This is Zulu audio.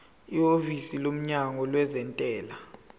ihhovisi lomnyango wezentela